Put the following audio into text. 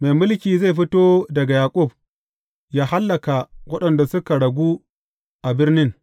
Mai mulki zai fito daga Yaƙub yă hallaka waɗanda suka ragu a birnin.